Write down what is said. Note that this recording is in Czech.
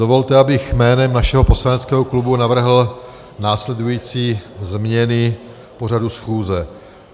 Dovolte, abych jménem našeho poslaneckého klubu navrhl následující změny pořadu schůze.